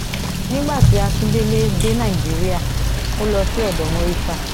nígbà tí akindélé dé nàìjíríà ó lọ sí odò murità